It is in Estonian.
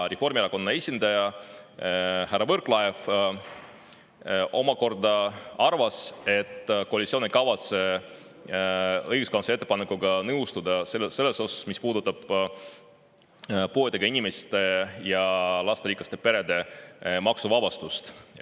Reformierakonna esindaja härra Võrklaev arvas, et koalitsioon ei kavatse õiguskantsleri ettepanekuga nõustuda selles osas, mis puudutab puuetega inimeste ja lasterikaste perede maksuvabastust.